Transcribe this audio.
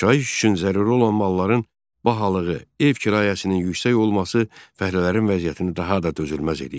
Yaşayış üçün zəruri olan malların bahalığı, ev kirayəsinin yüksək olması fəhlələrin vəziyyətini daha da dözülməz eləyirdi.